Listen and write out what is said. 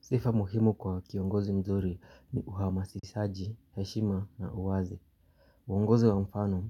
Sifa muhimu kwa kiongozi mzuri ni uhamasishaji heshima na uwazi. Uongozi wa mfano